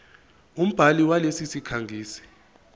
umbhali walesi sikhangisi